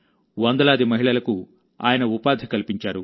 వందలాది మహిళలకు ఆయన ఉపాధి కల్పించారు